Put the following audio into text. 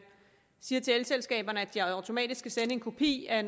siger til elselskaberne at de automatisk skal sende en kopi af